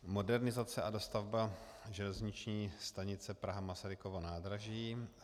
Modernizace a dostavba železniční stanice Praha - Masarykovo nádraží.